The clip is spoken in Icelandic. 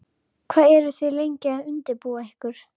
Hvað eru þið lengi að undirbúa ykkur?